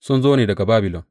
Sun zo ne daga Babilon.